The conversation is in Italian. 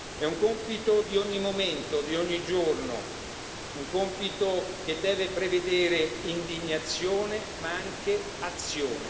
È un compito di ogni momento, di ogni giorno, un compito che deve prevedere indignazione ma anche azione.